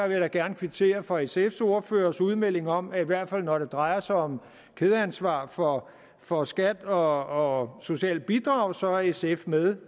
jeg da gerne kvittere for sfs ordførers udmelding om at i hvert fald når det drejer sig om kædeansvar for for skat og socialt bidrag så er sf med